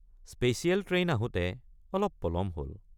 Special train আহোঁতে অলপ পলম হল।